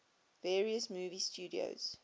various movie studios